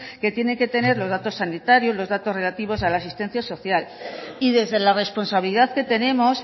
que tienen que tener los datos sanitarios los datos relativos a la asistencia social y desde la responsabilidad que tenemos